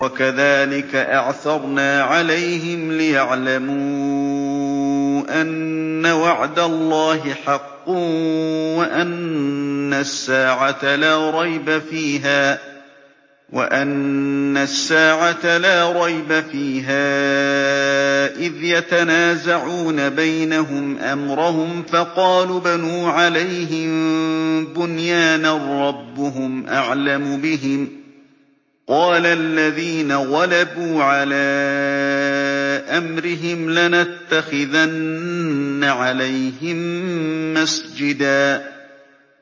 وَكَذَٰلِكَ أَعْثَرْنَا عَلَيْهِمْ لِيَعْلَمُوا أَنَّ وَعْدَ اللَّهِ حَقٌّ وَأَنَّ السَّاعَةَ لَا رَيْبَ فِيهَا إِذْ يَتَنَازَعُونَ بَيْنَهُمْ أَمْرَهُمْ ۖ فَقَالُوا ابْنُوا عَلَيْهِم بُنْيَانًا ۖ رَّبُّهُمْ أَعْلَمُ بِهِمْ ۚ قَالَ الَّذِينَ غَلَبُوا عَلَىٰ أَمْرِهِمْ لَنَتَّخِذَنَّ عَلَيْهِم مَّسْجِدًا